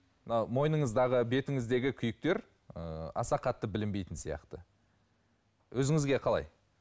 мына мойыныңыздағы бетіңіздегі күйіктер ы аса қатты білінбейтін сияқты өзіңізге қалай